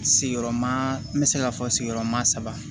Sigiyɔrɔma n bɛ se ka fɔ sigiyɔrɔma saba